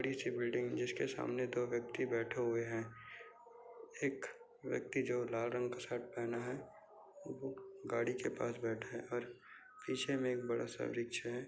बड़ी सी बिल्डिंग जिसके सामने दो व्यक्ती बैठे हुए है एक व्यक्ती जो लाल रंग का शर्ट पहना है गाड़ी के पास बैटा है और पिछे मै एक बडासा रिक्शा है।